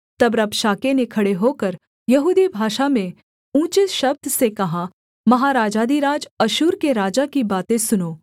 तब रबशाके ने खड़े होकर यहूदी भाषा में ऊँचे शब्द से कहा महाराजाधिराज अश्शूर के राजा की बातें सुनो